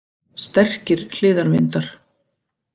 Sterkir hliðarvindar